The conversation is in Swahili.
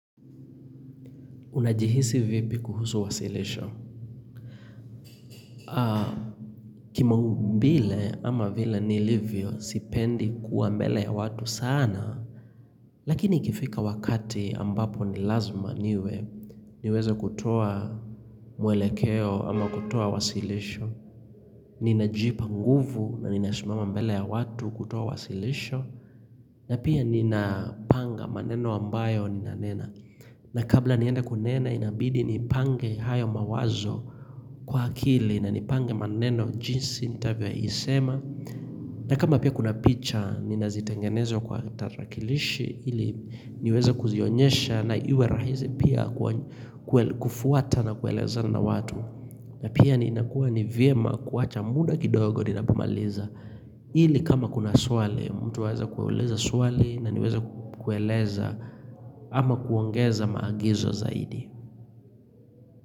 Unajihisi vipi kuhusu wasilisho? Kimaumbile ama vile nilivyo, sipendi kuwa mbele ya watu sana. Lakini ikifika wakati ambapo ni lazima niwe niweza kutoa mwelekeo ama kutoa wasilisho. Ninajipa nguvu na ninashimama mbele ya watu kutoa wasilisho. Na pia ninapanga maneno ambayo ninanena. Na kabla nienda kunena inabidi nipange hayo mawazo kwa akili na nipange maneno jinsi nitabia isema na kama pia kuna picha nina zitengeneza kwa tarakilishi ili niweza kuzionyesha na iwe rahizi pia kufuata na kueleza na watu na pia ni inakuwa ni vyema kuwacha muda kidogo ninapomaliza ili kama kuna swale mtu weza kueleza swale na niweza kueleza ama kuongeza maagizo zaidi.